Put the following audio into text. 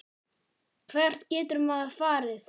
Hvert getur maður farið?